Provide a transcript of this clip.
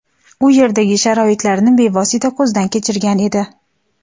u yerdagi sharoitlarni bevosita ko‘zdan kechirgan edi.